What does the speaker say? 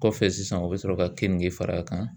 Kɔfɛ sisan u bɛ sɔrɔ ka keninge fara a kan.